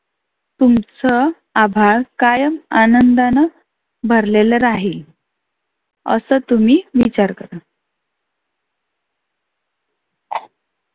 तुमच आभाळ कायम आनंदानं भरलेलं राहील. असं तुम्ही विचार करा.